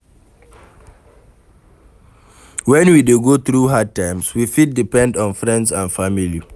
When we dey go through hard times we fit depend on friends and family